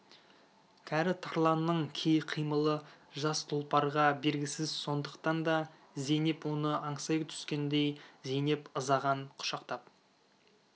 кәрі тарланның кей қимылы жас тұлпарға бергісіз сондықтан да зейнеп оны аңсай түскендей зейнеп ызадан құшақтап